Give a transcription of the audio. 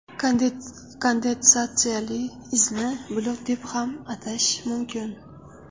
Kondensatsiyali izni bulut deb ham atash mumkin.